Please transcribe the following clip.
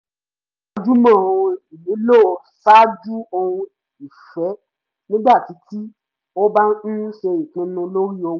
ó gbájúmọ́ ohun ìnílò ṣáájú ohun ìfẹ́ nígbà tí tí ó bá ń ṣe ìpinnu lórí owó